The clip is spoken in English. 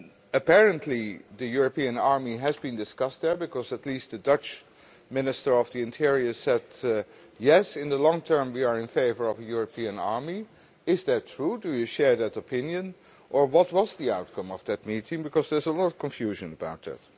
Apparently, the European army was discussed there because at least the Dutch Minister of the Interior said, yes, in the long term we are in favour of a European army'. Is that true? Do you share that opinion or what was the outcome of that meeting, because there's a lot of confusion about it.